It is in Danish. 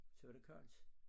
Så var det koldt